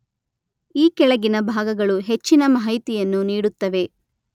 ಈ ಕೆಳಗಿನ ಭಾಗಗಳು ಹೆಚ್ಚಿನ ಮಾಹಿತಿಯನ್ನು ನೀಡುತ್ತವೆ.